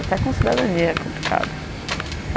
Até com cidadania é complicado.